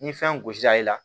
Ni fɛn gosi la i la